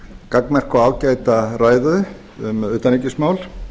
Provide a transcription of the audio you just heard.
gagnmerka og ágæta ræðu um utanríkismál